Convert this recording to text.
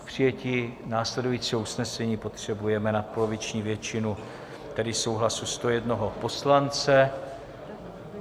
K přijetí následujícího usnesení potřebujeme nadpoloviční většinu, tedy souhlasu 101 poslance.